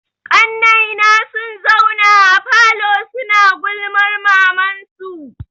Ƙannai na sun zauna a falo suna gulman malaman su.